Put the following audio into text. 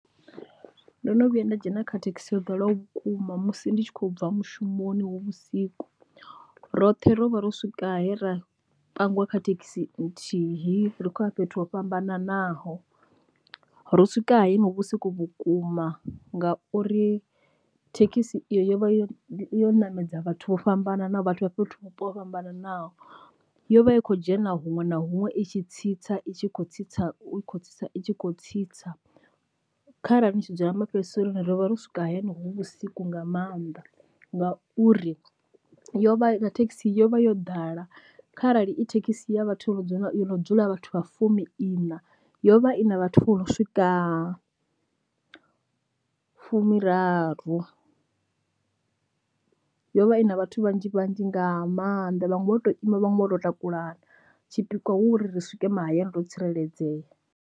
Ndo no vhuya nda dzhena kha thekhisi yo ḓalaho vhukuma musi ndi tshi khou bva mushumoni hu vhusiku, roṱhe ro vha ro swika he ra pangiwa kha thekhisi nthihi ri khou ya fhethu ho fhambananaho. Ro swika he hu vhusiku vhukuma ngauri thekhisi iyo yo vha yo yo ṋamedza vhathu vho fhambananaho vhathu vha fhethu vhupo ho fhambananaho yo vha i khou dzhena huṅwe na huṅwe i tshi tsitsa i tshi khou tsitsa i kho tsa i tshi kho tsitsa, kharali ni tshi dzula ma fhedziseloni rivha ro swika hayani hu vhusiku nga maanḓa, ngauri yo vha na thekhisi yo vha yo ḓala kharali i thekhisi ya vhathu vho no dzula vhathu vha fumi ina yo vha i na vhathu vho no swika fumiraru. Yo vha i na vhathu vhanzhi vhanzhi nga maanḓa vhaṅwe vho to ima vhaṅwe vho to takulana tshipikwa hu uri ri swike mahayani ro tsireledzea.